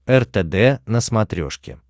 ртд на смотрешке